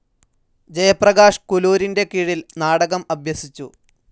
ജയപ്രകാശ് കുലൂരിൻ്റെ കീഴിൽ നാടകം അഭ്യസിച്ചു.